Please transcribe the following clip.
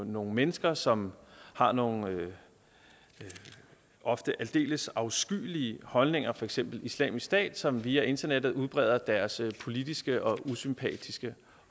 nogle mennesker som har nogle ofte aldeles afskyelige holdninger for eksempel islamisk stat som via internettet udbreder deres politiske og usympatiske